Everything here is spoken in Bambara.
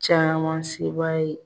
Caman se b'a ye.